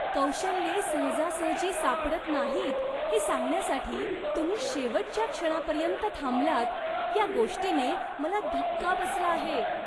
कौशल्ये सहजासहजी सापडत नाहीत हे सांगण्यासाठी तुम्ही शेवटच्या क्षणापर्यंत थांबलात, या गोष्टीने मला धक्का बसला आहे.